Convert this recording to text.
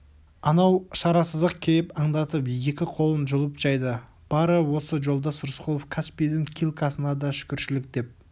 анау шарасыздық кейіп аңдатып екі қолын жайды бары осы жолдас рысқұлов каспийдің килькасына да шүкіршілік деп